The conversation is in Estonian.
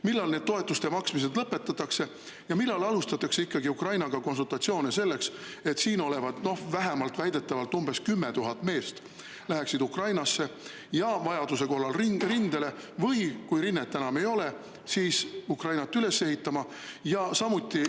Millal toetuste maksmine lõpetatakse ja millal alustatakse ikkagi Ukrainaga konsultatsioone selleks, et Ukraina mehed, keda siin väidetavalt on vähemalt 10 000, läheksid Ukrainasse ja vajaduse korral rindele, või kui rinnet enam ei ole, siis Ukrainat üles ehitama, ja samuti …